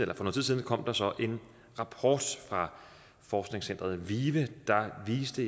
kom der så en rapport fra forskningscenteret vive der viste